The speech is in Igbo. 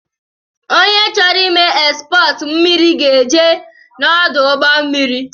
Onye chọrọ ime ekspọọtu mmiri ga-eje n’ọdụ ụgbọ mmiri